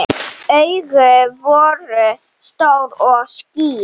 Augun voru stór og skýr.